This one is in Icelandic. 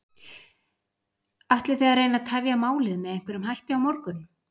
Ætlið þið að reyna að tefja málið með einhverjum hætti á morgun?